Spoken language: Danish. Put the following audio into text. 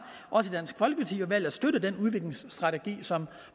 valgt at det støtte den udviklingsstrategi som